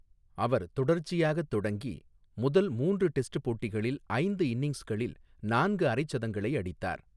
அவர் தொடர்ச்சியாக தொடங்கி, முதல் மூன்று டெஸ்ட் போட்டிகளில் ஐந்து இன்னிங்ஸ்களில் நான்கு அரைசதங்களை அடித்தார்.